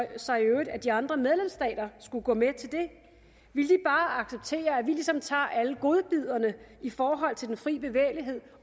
sig i øvrigt at de andre medlemsstater skulle gå med til det vil de bare acceptere at vi ligesom tager alle godbidderne i forhold til den frie bevægelighed